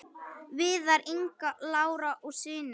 Viðar, Inga Lára og synir.